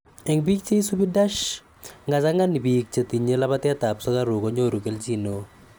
Eng biik che isubi DASH �ngachang'an biik chetinye labateet ap sugaruuk konyoru keljiin neo.